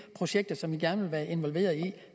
projekter vi gerne vil være involveret i